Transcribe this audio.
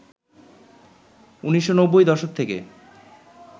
১৯৯০ দশক থেকে